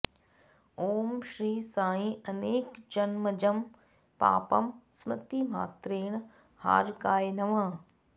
ॐ श्री साई अनेकजन्मजं पापं स्मृतिमात्रेण हारकाय नमः